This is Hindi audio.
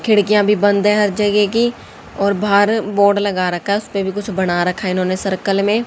खिड़कियां भी बंद है हर जगह की और बाहर बोर्ड लगा रखा है उसे पर भी कुछ बना रखा है इन्होंने सर्कल में।